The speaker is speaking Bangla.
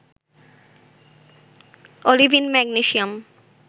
olivine magnesium